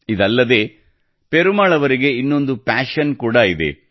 ಇದಲ್ಲದೇ ಪೆರುಮಾಳ್ ಅವರಿಗೆ ಇನ್ನೊಂದು ಪ್ಯಾಶನ್ ಕೂಡ ಇದೆ